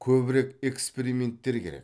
көбірек эксперименттер керек